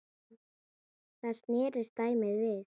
Þá snerist dæmið við.